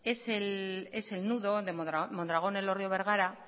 es el nudo de mondragón elorrio bergara